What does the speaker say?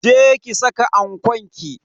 Je ki saka ankon ki.